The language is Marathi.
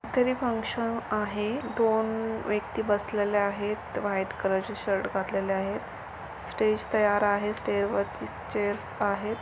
इकडे फंकशन दोन व्यक्ति बसलेले आहेत व्हाइट कलरचे शर्ट घातलेले आहेत स्टेज तयार आहेत स्टेज वरती चेअरस आहेत.